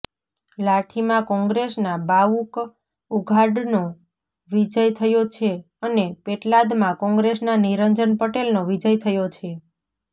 લાઠીમાં કોંગ્રેસના બાવકુ ઉઘાડનો વિજય થયો છે અને પેટલાદમાં કોંગ્રેસના નિરજંન પટેલનો વિજય થયો છે